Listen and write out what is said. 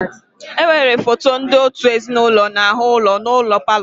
Enwere foto ndị òtù ezinụlọ n'ahụ ụlọ n'ụlọ palọ.